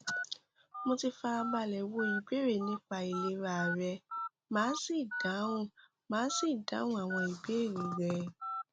mo ti fara balẹ wo ìbéèrè nípa ìlera rẹ màá sì dáhùn màá sì dáhùn àwọn ìbéèrè rẹ